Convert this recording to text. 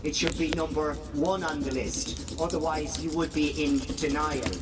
It should be number one on the list, otherwise you would be in denial.